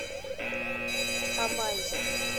амайзер